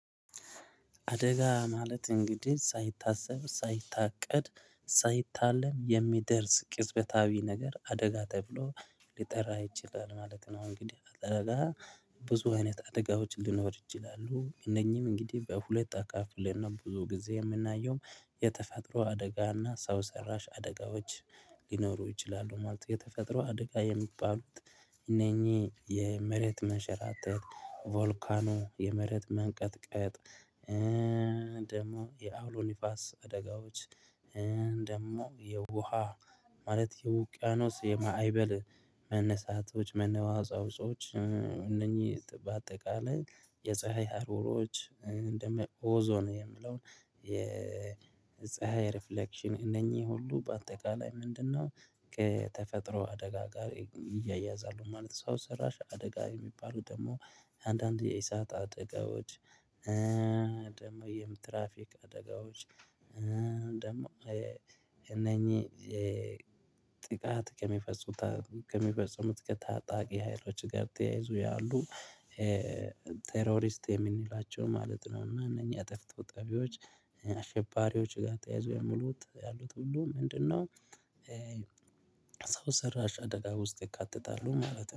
አደጋ ማለት እንግዲህ ሳይታሰብ ሳይታቀድ ሳይታለም የሚደርስ ቅጽበታዊ ነገር አደጋ ተብሎ ሊጠራ ይችላል ማለት ነው። እንግዲህ አደጋ ብዙ አይነት አደጋዎች ልኖር እችላለሁ። እነኚህም እንግዲህ በሁለት አካፍል እና ብዙ ጊዜ የምናየውም የተፈጥሮ አደጋ እና ሰው ሰራሽ አደጋዎች ሊኖሩ ይችላሉ ማለት ነው። የተፈጥሮ አደጋ የሚባሉት እነኚህ የመሬት መሸራተት ቮልካኖ የመሬት መንቀጥቀጥ። ደግሞ የአውሎ ንፋስ አደጋዎች። ደግሞ የውሃ ማለት የውቅያኖስ የማዕበል መነሳቶች መነዋዛውጾች። እነኚህ በአጠቃላይ የፀሀይ ሀሩሮች እንደ ኦዞን የምለውን የፀሀይ ሪፍሌክሽን እነኚህ ሁሉ በአጠቃላይ ምንድነው? ከተፈጥሮ አደጋ ጋር እያያዛለሁ ማለት ነው። ሰው ሰራሽ አደጋ የሚባሉ ደግሞ አንዳንድ የእሳት አደጋዎች። ደግሞ የምትራፊክ አደጋዎች። ደግሞ እነኚህ ጥቃት ከሚፈጽሙት ከሚፈጽሙት ከታጣቂ ሀይሎች ጋር ተያይዞ ያሉ ቴርሪስት የምንላቸው ማለት ነው። እነኚህ አጠፍቶ ጠፊዎች አሸባሪዎች ጋር ተያይዞ የሙሉት ያሉት ሁሉ ምንድነው? ሰው ሰራሽ አደጋ ውስጥ ይካተታሉ ማለት ነው